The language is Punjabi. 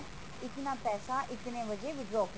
ਇਤਨਾ ਪੈਸਾ ਇਤਨੇ ਵਜੇ withdraw ਕੀਤਾ